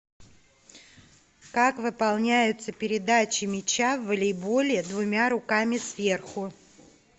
как выполняются передачи мяча в волейболе двумя руками сверху